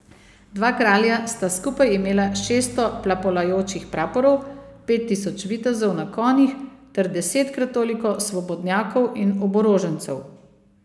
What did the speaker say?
Dva kralja sta skupaj imela šeststo plapolajočih praporov, pet tisoč vitezov na konjih ter desetkrat toliko svobodnjakov in oborožencev.